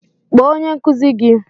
kpọọ onye nkụzi gi!